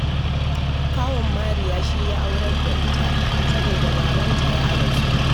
Kawun Mariya shi ya aurar da ita, saboda babanta ya rasu